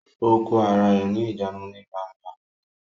Ó kó ara rẹ ní ìjánu ní gbangba